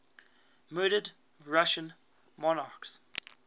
murdered russian monarchs